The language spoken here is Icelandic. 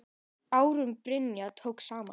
Ásrún Brynja tók saman.